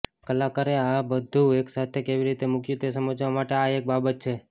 કલાકારે આ બધું એકસાથે કેવી રીતે મૂક્યું તે સમજવા માટે આ એક બાબત છે